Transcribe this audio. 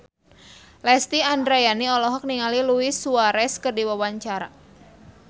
Lesti Andryani olohok ningali Luis Suarez keur diwawancara